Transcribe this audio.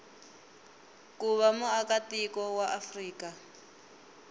ku va muakatiko wa afrika